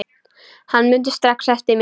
Hann mundi strax eftir mér.